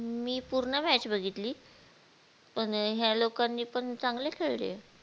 मी पूर्ण match बघितली पण ह्या लोकांनी पण चांगले खेळले